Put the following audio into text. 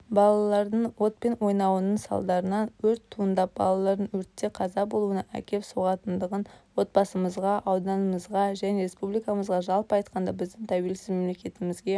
балалардың отпен ойнауының салдарынан өрт туындап балалардың өртте қаза болуына әкеп соғатындығын отбасымызға ауданымызға және республикамызға жалпы айтқанда біздің тәуелсіз мемлекетімізге